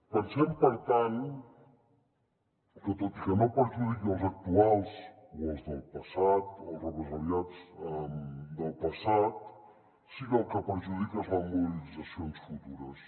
pensem per tant que tot i que no perjudiqui els actuals o els del passat o els represaliats del passat sí que el que perjudica són les mobilitzacions futures